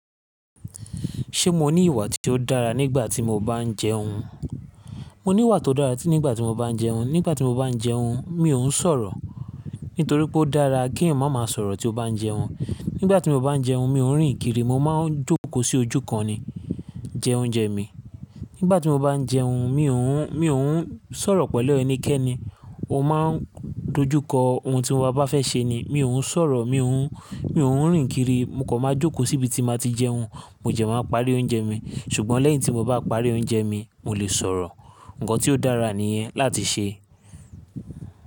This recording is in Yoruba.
Ṣé mo ní ìwà tí ó dára nígbà tí mo bá ń jẹun? Mo níwà tó dára tí nígbà tí mo bá ń jẹun. Nígbà tí mo bá ń jẹun, mi ò ń sọ̀rọ̀. Nítorí pé ó dára kéèyàn má máa sọ̀rọ̀ tí ó bá ń jẹun. Nígbà tí mo bá ń jẹun mi ò ń rìn kiri, mo máa ń jókòó sí ojú kan ni jẹ oúnjẹ mi. Nígbà tí mo bá ń jẹun, mi ò ń, mi ò ń sọ̀rọ̀ pẹ̀lú ẹnikẹ́ni. Mo máa ń dojúkọ ohun tí mo a bá fẹ́ ṣe ni. Mi ò ń sọ̀rọ̀, mi ò ń, mi ò ń rìn kiri, mo kò máa jókòó síbi tí n ma ti jẹun. Mo jẹ̀ máa ń parí oúnjẹ mi. Ṣùgbọ́n lẹ́yìn tí mo bá parí oúnjẹ mi, mo lè sọ̀rọ̀. Nǹkan tí ó dára níyẹn láti ṣe.